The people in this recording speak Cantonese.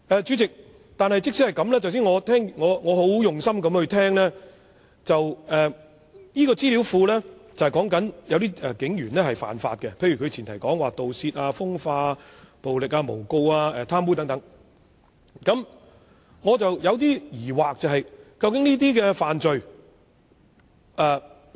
主席，我剛才很用心聆聽鄭議員的解釋，資料庫存有警員干犯刑事罪行的資料，包括盜竊、風化、暴力、誣告及貪污等，但我還是有些疑惑。